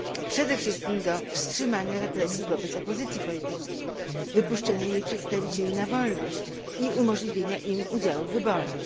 Przede wszystkim do wstrzymania represji wobec opozycji politycznej, wypuszczenia jej przedstawicieli na wolność i umożliwienia im udziału w wyborach.